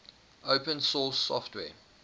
open source software